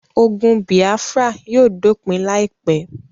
Ogun bìáfírà yóò dópin láìpé